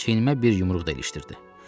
Çiyinimə bir yumruq da ilişdirdi.